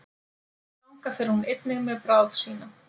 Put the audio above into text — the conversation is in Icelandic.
þangað fer hún einnig með bráð sína